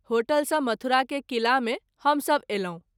Hotel सँ मथुरा के किला मे हम सभ अयलहुँ।